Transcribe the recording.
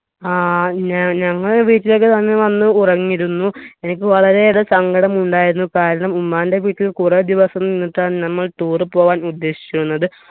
ആ ഞ ഞങ്ങൾ വീട്ടിലേക്ക് അന്ന് വന്ന് ഉറങ്ങിയിരുന്നു എനിക്ക് വളരെയേറെ സങ്കടമുണ്ടായിരുന്നു കാരണം ഉമ്മാന്റെ വീട്ടിൽ കുറെ ദിവസം നിന്നിട്ടാണ് നമ്മൾ tour പോവാൻ ഉദ്ദേശിച്ചിരുന്നത്